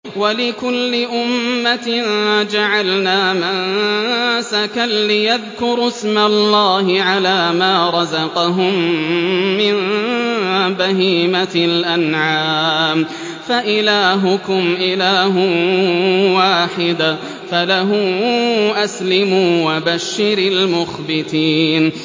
وَلِكُلِّ أُمَّةٍ جَعَلْنَا مَنسَكًا لِّيَذْكُرُوا اسْمَ اللَّهِ عَلَىٰ مَا رَزَقَهُم مِّن بَهِيمَةِ الْأَنْعَامِ ۗ فَإِلَٰهُكُمْ إِلَٰهٌ وَاحِدٌ فَلَهُ أَسْلِمُوا ۗ وَبَشِّرِ الْمُخْبِتِينَ